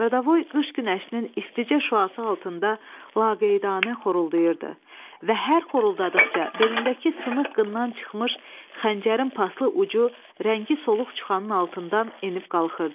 Qaradavoy qış günəşinin isticə şüası altında laqeydanə xoruldayırdı və hər xoruldadıqca belindəki sınıq qından çıxmış xəncərin paslı ucu rəngi soluq çuxanın altından enib qalxırdı.